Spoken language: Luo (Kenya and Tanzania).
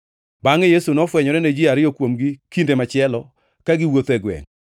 Bangʼe Yesu nofwenyore ne ji ariyo kuomgi kinde machielo, ka giwuotho e gwengʼ.